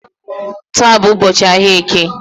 Taa bụ ụbọchị ahia eke